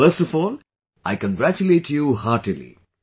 So first of all I congratulate you heartily